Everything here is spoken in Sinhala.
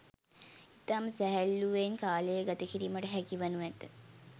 ඉතාම සැහැල්ලූවෙන් කාලය ගත කිරීමට හැකි වනු ඇත